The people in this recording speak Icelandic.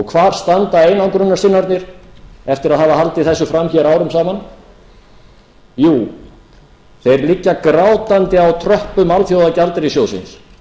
hvar standa einangrunarsinnarnir eftir að hafa haldið þessu fram hér árum saman jú þeir liggja grátandi á tröppum alþjóðagjaldeyrissjóðsins